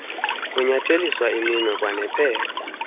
kunyatheliswa iminwe kwanephepha